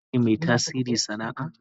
Shin kai ne mai tasiri sana'a?